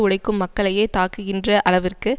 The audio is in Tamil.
உழைக்கும் மக்களையே தாக்குகின்ற அளவிற்கு